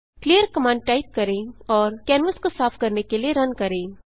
clear command type करें और canvas को साफ करने के लिए रन करें